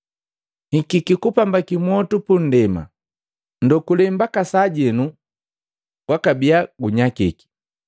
“Nikiki kupambaki mwotu pundema, ndokule mbakasajenu gwakabia gunyakiki!